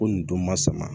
Ko nin don ma sama